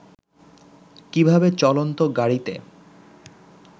কীভাবে চলন্ত গাড়ীতে